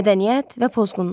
Mədəniyyət və pozğunluq.